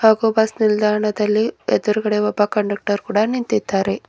ಹಾಗು ಬಸ್ ನಿಲ್ದಾಣದಲ್ಲಿ ಎದುರುಗಡೆ ಒಬ್ಬ ಕಂಡಕ್ಟರ್ ಕೂಡ ನಿಂತಿದ್ದಾರೆ.